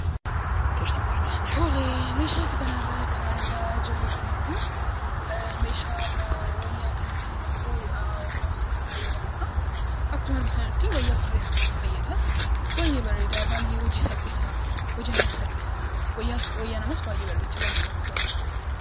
Tole. Meeshaa kana irraa kan argaa jirru kun immoo meeshaa wayyaa kan ittiin 'maka'uuf' hodhaaf kan fayyadamnuudha. Akkuma argitanitti wayyaa sirreessuudhaaf fayyada. Baay'ee bareeda, baay'e hojii salphisa. Hojii namaaf salphisa. Wayyaa namaaf baay'ee bareecha. Baay'ee namatti tola.